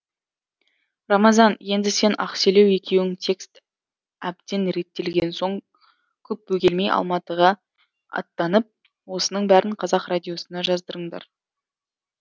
рамазан енді сен ақселеу екеуің текст әбден реттелген соң көп бөгелмей алматыға аттанып осының бәрін қазақ радиосына жаздырыңдар